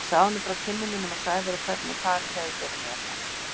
Ég sagði honum frá kynnum mínum af Sævari og hvernig farið hefði verið með hann.